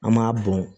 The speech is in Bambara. An m'a bɔn